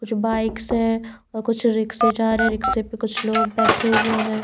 कुछ बाइक्स हैं और कुछ रिक्शे जा रहे हैं रिक्शे पर कुछ लोग बैठे हुए हैं।